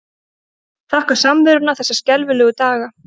Þakka samveruna þessa skelfilegu daga.